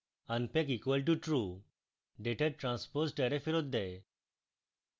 unpack equal to true> ডাটার transposed array ফেরৎ দেয়